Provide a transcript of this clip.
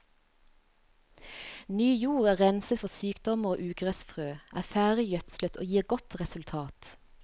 Ny jord er renset for sykdommer og ugressfrø, er ferdig gjødslet og gir godt resultat.